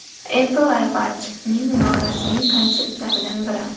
Apple iWatch’ning norasmiy konseptlaridan biri.